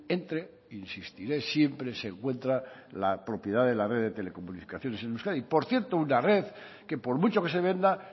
entre e insistiré siempre se encuentra la propiedad de la red de telecomunicaciones en euskadi por cierto una red que por mucho que se venda